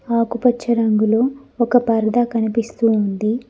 ఆకుపచ్చ రంగులో ఒక పరదా కనిపిస్తూ ఉంది.